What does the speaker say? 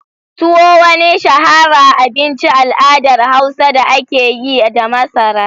Tuwo wani shahara abinci al’adar Hausa da ake yi da masara.